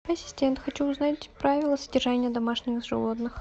ассистент хочу узнать правила содержания домашних животных